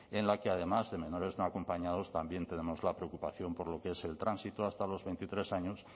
en la que además de menores no acompañados también tenemos la preocupación por lo que es el tránsito hasta los veintitrés años